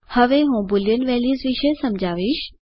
હવે હું boolean values વિશે સમજાવીશ